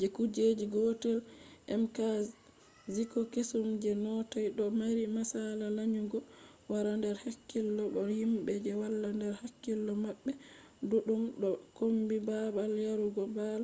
je kuje gotel mkziko kesum je noth ɗo mari masala lanyugo wala nder hakkilo bo himɓe je wala nder hakkilo maɓɓe duɗɗum ɗo kombi babal yarugo bal